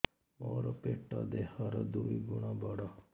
ମୋର ପେଟ ଦେହ ର ଦୁଇ ଗୁଣ ବଡ